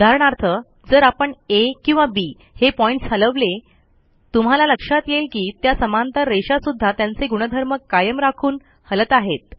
उदाहरणार्थ जर आपण आ किंवा बी हे पॉईंटस हलवले तुम्हाला लक्षात येईल की त्या समांतर रेषा सुध्दा त्यांचे गुणधर्म कायम राखून हलत आहेत